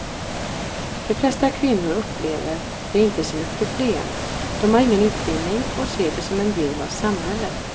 De flesta kvinnor upplever det inte som ett problem, de har ingen utbildning och ser det som en del av samhället.